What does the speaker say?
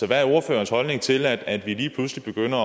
hvad er ordførerens holdning til at vi lige pludselig begynder